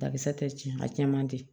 Bakisɛ tɛ tiɲɛ a cɛ man di